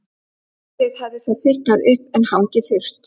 Síðdegis hafði svo þykknað upp en hangið þurrt.